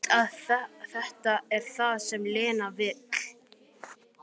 Veit að þetta er það sem Lena vill.